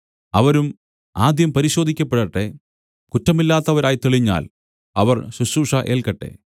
അവരും ആദ്യം പരിശോധിക്കപ്പെടട്ടെ കുറ്റമില്ലാത്തവരായി തെളിഞ്ഞാൽ അവർ ശുശ്രൂഷ ഏല്ക്കട്ടെ